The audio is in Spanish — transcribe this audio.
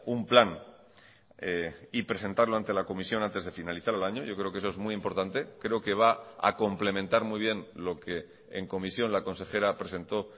un plan y presentarlo ante la comisión antes de finalizar el año yo creo que eso es muy importante creo que va a complementar muy bien lo que en comisión la consejera presentó